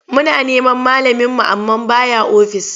Muna neman malaminmu amma ba ya ofis.